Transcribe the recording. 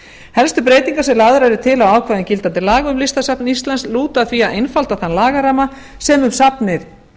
helstu breytingar sem lagðar eru til á ákvæðum gildandi laga um listasafn íslands lúta að því að einfalda þann lagaramma sem um safnið